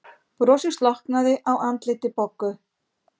Brosið slokknaði á andliti Boggu.